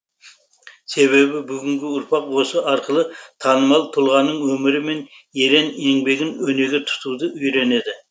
себебі бүгінгі ұрпақ осы арқылы танымал тұлғаның өмірі мен ерен еңбегін өнеге тұтуды үйренеді